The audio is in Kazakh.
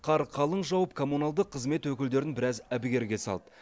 қар қалың жауып коммуналдық қызмет өкілдерін біраз әбігерге салды